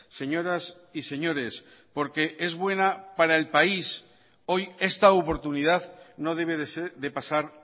señoras y señores porque es buena para el país hoy esta oportunidad no debe de pasar